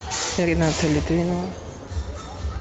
рената литвинова